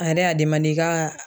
A yɛrɛ y'a demande kaa